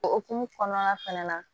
Okumu kɔnɔna fɛnɛ na